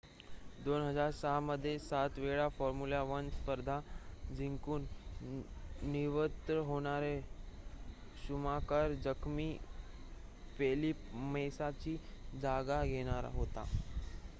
2006 मध्ये 7 वेळा फॉर्म्युला 1 स्पर्धा जिंकून निवृत्त होणारा शुमाकर जखमी फेलिप मेसाची जागा घेणार होता